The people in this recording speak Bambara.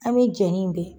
An bɛ jɛnni bɛɛ